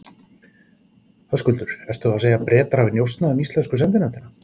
Höskuldur: Ertu þá að segja þá að Bretar hafi njósnað um íslensku sendinefndina?